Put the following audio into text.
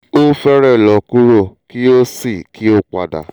o fẹrẹ lọ kuro ki o si ki o pada